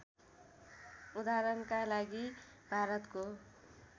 उदाहरणका लागि भारतको